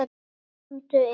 Komdu inn!